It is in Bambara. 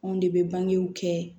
Anw de bɛ bangew kɛ